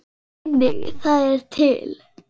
Einnig það er til.